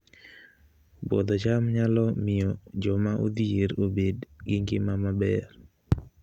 Puodho cham nyalo miyo joma odhier obed gi ngima maber